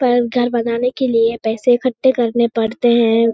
पर घर बनाने के लिए पैसे इकट्ठे करने पड़ते हैं।